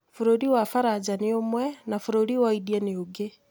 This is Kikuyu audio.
Bũrũri wa Faranja nĩ ũmwe, na bũrũri wa India nĩ ũngĩ.